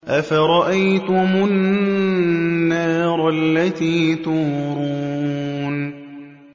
أَفَرَأَيْتُمُ النَّارَ الَّتِي تُورُونَ